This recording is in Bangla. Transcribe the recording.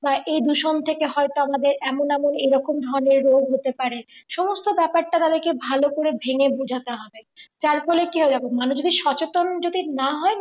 বা এই দূষণ থেকে হয়তো আমাদের এমন এমন এরকম হবে রোগ হতে পারে সমস্ত ব্যাপারটা তাদেরকে ভালো করে ভেঙে বোঝাতে হবে যার ফলে কি হবে দেখো মানুষ যদি সচেতন যদি না হয়